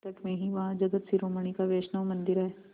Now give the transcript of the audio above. निकट में ही वहाँ जगत शिरोमणि का वैष्णव मंदिर है